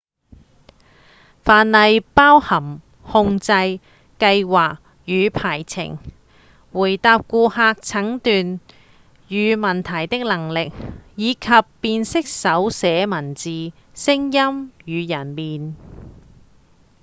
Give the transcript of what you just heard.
範例包含控制、計畫與排程回答顧客診斷與問題的能力以及辨識手寫文字、聲音與人臉